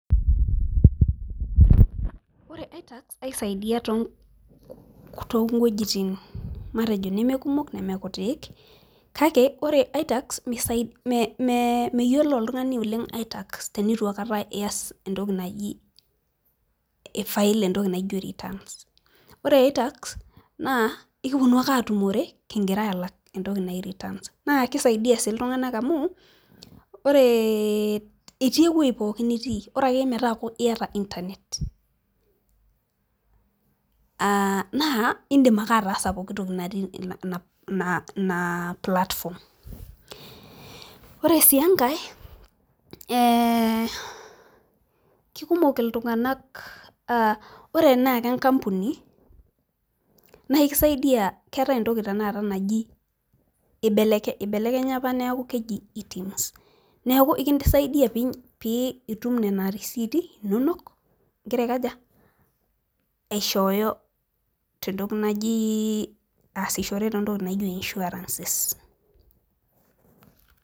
ore i-tax aisaidia too wuejitin matejo neme kumok, neme kutik kake ore i-tax meyiolo oltungani oleng i-tax, teneitu aikata ias entoki naji,i fil entoki naijo returns ore returns naa ekipuonu ake aatumore kigira ai file entoki naji returns naa kisaidia sii iltunganak amu, ore itii ewueji pookin nitii, bora akeyie metaaku iyata internet aa naa idim ake ataasa pooki toki natii ina platform ore sii enkae ee kikumok iltunganak, ore sii enkampuni, keetae entoki naji ibelekenya apa neeku keji itumus neeku ekisaidia pee itum nena receipt inonok igira aikaja, igira aishoyo entoki naji igira aasishore too ntokitin naaji insurances